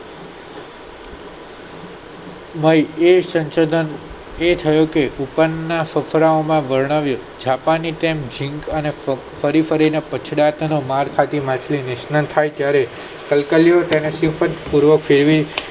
એ હોય એ સંશોધન એ થયો કે ઉપર ના ફકરા માં વર્ણવ્યું કે જાપાની ઝીંક જેમ ફરી ફરી ને પછડાટ માર્ગ નિષ્યતિ થાય ત્યારે કલ્કલીયુ તેને સિદ્ધ પૂર્વક તેવી